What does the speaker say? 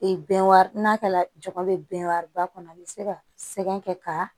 Ee bɛnkan n'a kɛla jama bɛ bɛn wariba kɔnɔ an bɛ se ka sɛbɛn kɛ ka